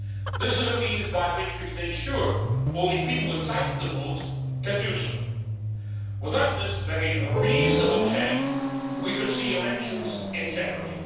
This is a means by which we can ensure only people entitled to vote can do so. Without this very reasonable check, we could see elections in jeopardy.